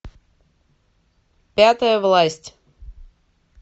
пятая власть